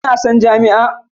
Kana son jami'a?